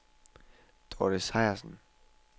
Dorte Sejersen